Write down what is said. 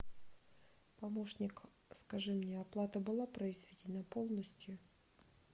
помощник скажи мне оплата была произведена полностью